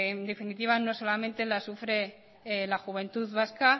en definitiva no solo la sufre la juventud vasca